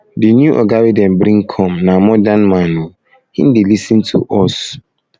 di new oga wey dem bring come na modern man o him dey lis ten to lis ten to us